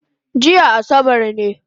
Jiya asabar ne